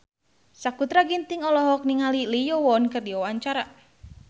Sakutra Ginting olohok ningali Lee Yo Won keur diwawancara